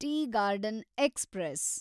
tea garden express